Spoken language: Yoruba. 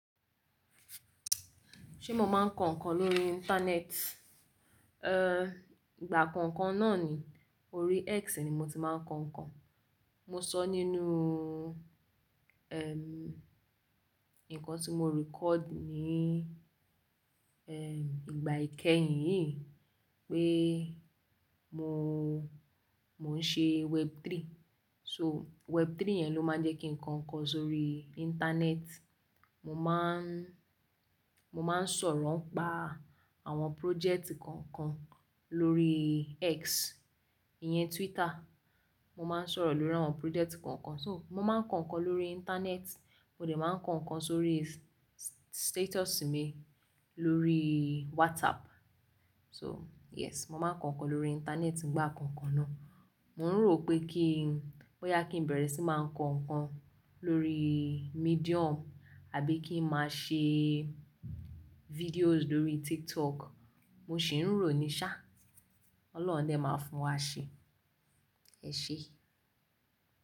Ṣé mo máa ń kọ ǹkan lórí Íńtánẹ́ẹ̀tì? Ehn, ìgbà kọ̀ọ̀kan náà ni, orí X ni mo ti máa ń kọ ǹkan. Mo sọ nínú, ehn, ǹkan tí mo record ní, ehn, ìgbà ìkẹyìn yìí pé mo, mo ń ṣe Web3. So Web3 yẹn ló máa ń jẹ́ kí n kọ ǹkan sórí Íńtánẹ́ẹ̀tì. Mo máa ń, mo máa ń sọ̀rọ̀ nipa àwọn project kọ̀ọ̀kan lórí X, ìyẹn Twitter. Mo máa ń sọ̀rọ̀ lórí àwọn project kọ̀ọ̀kan. So mo máa ń kọ ǹkan lórí Íńtánẹ́ẹ̀tì, mo lè máa ń kọ ǹkan sórí status mi lórí WhatsApp. So yes, mo máa ń kọ ǹkan lórí Íńtánẹ́ẹ̀tì nìgbà kọ̀ọ̀kan náà. Mo ń rò pé ki n, bóyá kí n bẹ̀rẹ̀ sí máa kọ ǹkan lórí Medium àbí kí n máa ṣe videos lórí TikTok. Mo sì ń rò ní ṣá. Ọlọ́hun a dẹ máa fún wa ṣe. Ẹ ṣé.